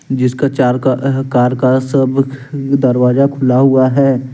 जिसका चार का अह कार का सब दरवाजा खुला हुआ है।